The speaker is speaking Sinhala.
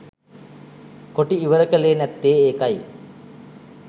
කොටි ඉවර කලේ නැත්තේ ඒකයි.